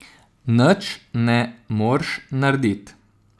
Nč ne morš nardit.